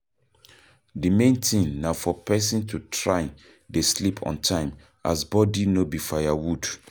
The main thing na for person to try dey sleep on time as body no be firewood